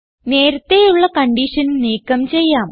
നേരത്തേയുള്ള condition നീക്കം ചെയ്യാം